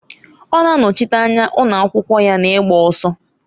Ọ na-anọchịta anya ụnọakwụkwụ ya na-igba ọsọ.